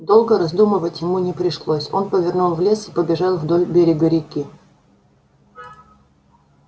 долго раздумывать ему не пришлось он повернул в лес и побежал вдоль берега реки